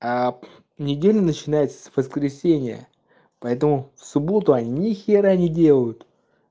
неделя начинается с воскресенья поэтому в субботу они нихера не делают